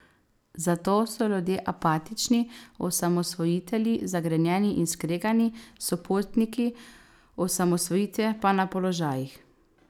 Zato so ljudje apatični, osamosvojitelji zagrenjeni in skregani, sopotniki osamosvojitve pa na položajih.